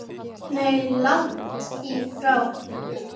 Nei, langt í frá.